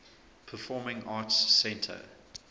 performing arts center